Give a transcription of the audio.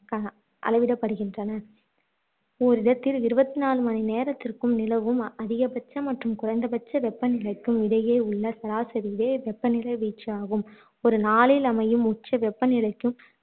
கக அளவிடப்படுகின்றன ஓர் இடத்தில் இருபத்து நாலு மணி நேரத்திற்கும் நிலவும் அதிகபட்ச மற்றும் குறைந்தபட்ச வெப்பநிலைக்கும் இடையேயுள்ள சராசரியே வெப்பநிலை வீச்சு ஆகும் ஒரு நாளில் அமையும் உச்ச வெப்பநிலைக்கும்